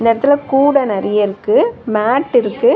இந்த எடத்துல கூட நறைய இருக்கு மேட் இருக்கு.